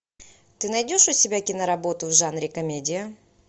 ты найдешь у себя киноработу в жанре комедия